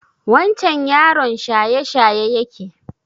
Wancen yaron shayeshaye yake?